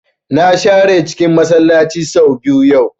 Na share cikin Masallaci sau biyu yau